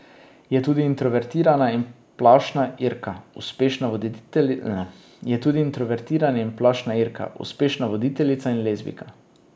Je tudi introvertirana in plašna Irka, uspešna voditeljica in lezbijka.